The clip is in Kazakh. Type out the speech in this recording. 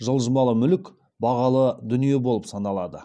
жылжымалы мүлік бағалы дүние болып саналады